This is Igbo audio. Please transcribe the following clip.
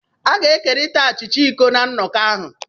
A ga-ekerịta achịcha iko na nnọkọ ahụ